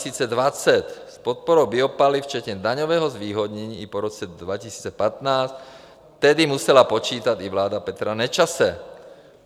S podporou biopaliv včetně daňového zvýhodnění i po roce 2015 tedy musela počítat i vláda Petra Nečase.